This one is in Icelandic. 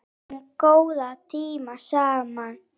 Við áttum góða tíma saman